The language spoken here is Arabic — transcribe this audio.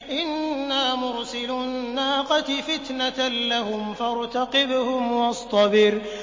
إِنَّا مُرْسِلُو النَّاقَةِ فِتْنَةً لَّهُمْ فَارْتَقِبْهُمْ وَاصْطَبِرْ